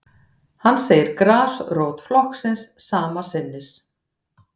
Hann segir grasrót flokksins sama sinnis